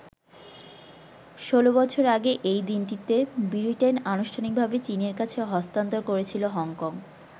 ১৬ বছর আগে এই দিনটিতে ব্রিটেন আনুষ্ঠানিকভাবে চীনের কাছে হস্তান্তর করেছিল হংকং।